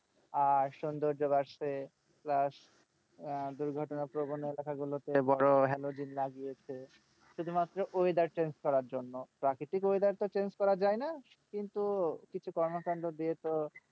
আর সৌন্দর্য বাড়ছে plus দুর্ঘটনাপ্রবন এলাকাগুলোতে বড়ো halogen লাগিয়েছে শুধুমাত্র weather change করার জন্য। প্রাকৃতিক weather তো change করা যায়না কিন্তু কিছু কর্মকাণ্ড দিয়ে তো,